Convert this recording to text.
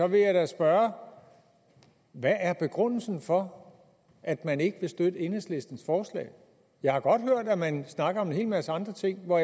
vil jeg da spørge hvad er begrundelsen for at man ikke vil støtte enhedslistens forslag jeg har godt hørt at man snakker om en hel masse andre ting og